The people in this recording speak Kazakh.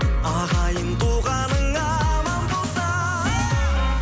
ағайын туғаның аман болса